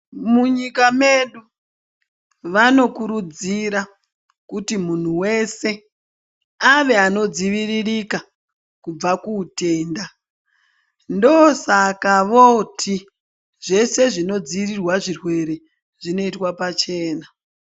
Munyika medu vanokurudzira kuti munhu wese ave anodziviririka kubva kuutenda ndosaka voti zvese zvinodzivirirwa zvirwere zvinoitwe pachena ..